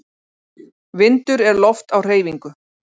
Vindur er loft á hreyfingu.